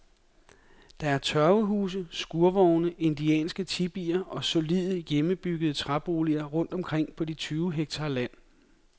Der er tørvehuse, skurvogne, indianske tipier og solide, hjemmebyggede træboliger rundt omkring på de tyve hektar land.